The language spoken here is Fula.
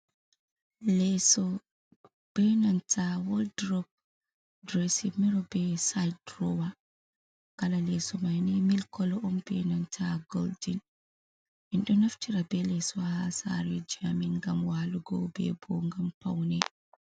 Leso benanta waldrop, derisin miro be sid drowa, kala leso maini mil kolo on benanta goldin endo naftira be leso ha sare a min gam walugo bebo gam paune.